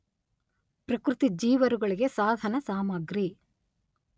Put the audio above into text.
ಪ್ರಕೃತಿ ಜೀವರುಗಳಿಗೆ ಸಾಧನಸಾಮಗ್ರಿ.